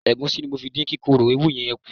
Ẹ̀gúsí ni mo fi dín kíkorò ewúró yẹn kù.